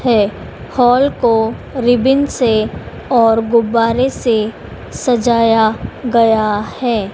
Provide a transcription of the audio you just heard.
है हॉल को रिबन से और गुब्बारे से सजाया गया है।